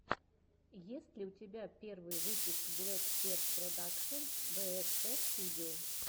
есть ли у тебя первый выпуск блэксерж продакшен бээспэ студио